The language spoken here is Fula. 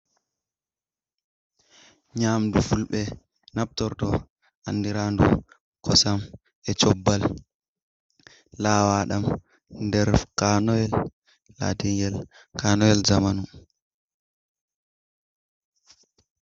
Nyamdu fulɓe naftorto andiraɗum kosam e'cobbal lawaɗam nder kanoyel lati'ngel kanoyel zamanu.